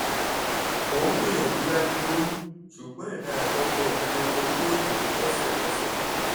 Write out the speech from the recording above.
mo ń gbìyànjú láti lóyún ṣùgbọ́n èmi àti ọkọ mi lo kokéènì lọ́sẹ̀ kan sẹ́yìn